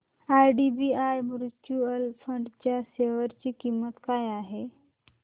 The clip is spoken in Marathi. आयडीबीआय म्यूचुअल फंड च्या शेअर ची किंमत काय आहे